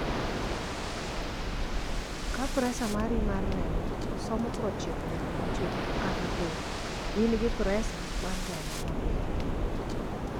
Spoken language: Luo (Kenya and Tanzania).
ka pressure mari mar remo somo 90/60 kata piny, in gi pressure mar remo ma piny